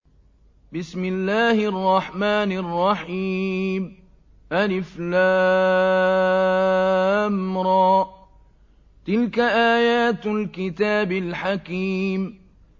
الر ۚ تِلْكَ آيَاتُ الْكِتَابِ الْحَكِيمِ